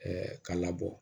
ka labɔ